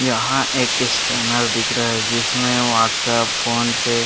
यहाँ एक स्कैनर दिख रहा है जिसमें व्हाट्सअप फोनपे --